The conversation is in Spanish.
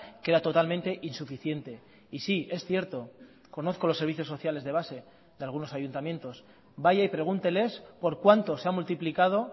que era totalmente insuficiente y sí es cierto conozco los servicios sociales de base de algunos ayuntamientos vaya y pregúnteles por cuánto se ha multiplicado